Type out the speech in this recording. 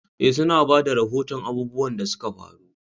Eh, su na ba da rahoton abubuwan da suka faru.